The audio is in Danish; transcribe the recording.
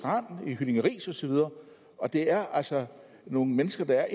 og det er altså nogle mennesker der er